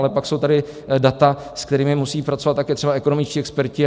Ale pak jsou tady data, s kterými musí pracovat také třeba ekonomičtí experti.